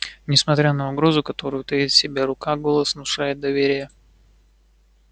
несмотря на угрозу которую таит в себе рука голос внушает доверие